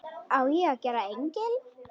Á ég að gera engil?